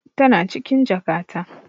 Tana cikin jakata.